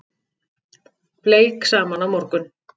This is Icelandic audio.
Bleik saman á morgun